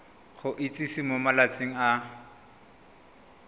go itsise mo malatsing a